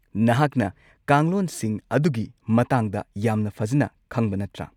ꯅꯍꯥꯛꯅ ꯀꯥꯡꯂꯣꯟꯁꯤꯡ ꯑꯗꯨꯒꯤ ꯃꯇꯥꯡꯗ ꯌꯥꯝꯅ ꯐꯖꯅ ꯈꯪꯕ ꯅꯠꯇ꯭ꯔꯥ?